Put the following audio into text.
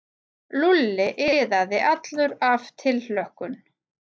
Lúlli iðaði allur af tilhlökkun.